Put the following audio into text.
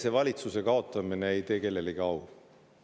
Enesevalitsuse kaotamine ei tee kellelegi au.